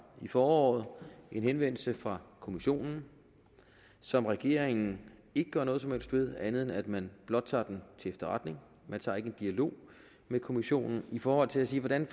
i foråret en henvendelse fra kommissionen som regeringen ikke gør noget som helst ved andet end at man blot tager den til efterretning man tager ikke en dialog med kommissionen i forhold til at sige hvordan